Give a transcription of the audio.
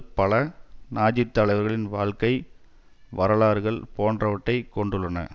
பல நாஜித்தலைவர்களின் வாழ்க்கை வரலாறுகள் போன்றவற்றை கொண்டுள்ளன